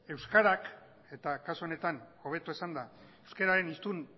euskarak eta kasu honetan hobeto esanda euskararen